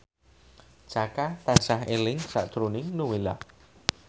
Jaka tansah eling sakjroning Nowela